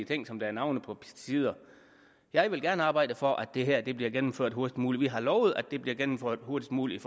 ting som der er navne på pesticider jeg vil gerne arbejde for at det her bliver gennemført hurtigst muligt vi har lovet at det bliver gennemført hurtigst muligt